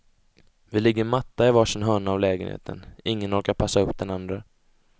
Vi ligger matta i varsin hörna av lägenheten, ingen orkar passa upp den andre.